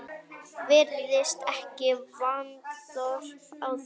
Virðist ekki vanþörf á því.